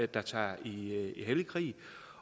der tager i hellig krig